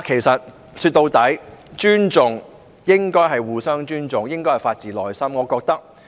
說到底，尊重應該是互相尊重，應該是發自內心。